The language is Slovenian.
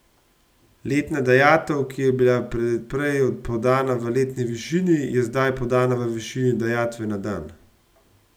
Letna dajatev, ki je bila prej podana v letni višini, je zdaj podana v višini dajatve na dan.